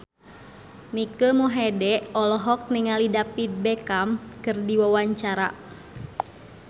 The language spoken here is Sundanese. Mike Mohede olohok ningali David Beckham keur diwawancara